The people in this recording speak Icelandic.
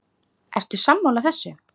Ertu sammála þessu?